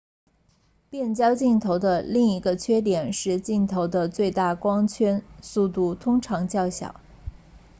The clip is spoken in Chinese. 变焦镜头的另一个缺点是镜头的最大光圈速度通常较小